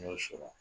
N y'o sɔrɔ